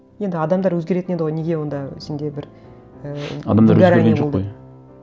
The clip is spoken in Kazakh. енді адамдар өзгеретін еді ғой неге онда сенде бір ііі адамдар өзгерген жоқ қой